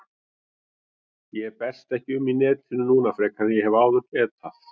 Ég berst ekki um í netinu núna frekar en ég hef áður getað.